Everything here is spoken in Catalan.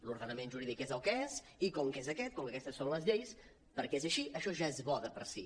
l’ordenament jurídic és el que és i com que és aquest com que aquestes són les lleis perquè és així això ja és bo de per si